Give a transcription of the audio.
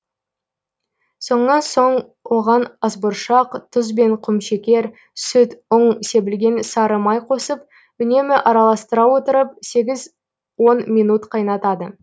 сонан соң оған асбұршақ тұз бен құмшекер сүт ұн себілген сары май қосып үнемі араластыра отырып сегіз он минут қайнатады